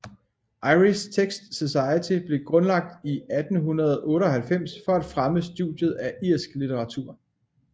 Irish Texts Society blev grundlagt i 1898 for at fremme studiet af irsk litteratur